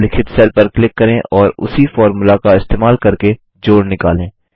डी9 उल्लिखित सेल पर क्लिक करें और उसी फ़ॉर्मूला का इस्तेमाल करके जोड़ निकालें